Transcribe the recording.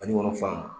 Banikɔnɔ fan